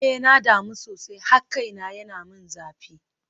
Eh na damu sosai har kaina yana min zafi.